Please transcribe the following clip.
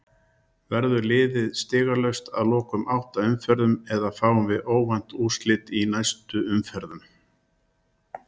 Verður liðið stigalaust að loknum átta umferðum eða fáum við óvænt úrslit í næstu umferðum?